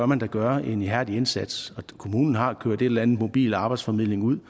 man bør gøre en ihærdig indsats der kommunen har kørt en eller en mobil arbejdsformidling ud